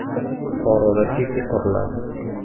Buxoroda Siti quriladi.